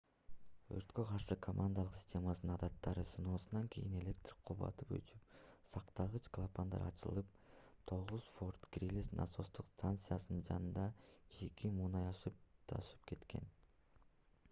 өрткө каршы командалык системанын адаттагы сыноосунан кийин электр кубаты өчүп сактагыч клапандар ачылып 9-форт грили насостук станциясынын жанында чийки мунай ашып-ташып кеткен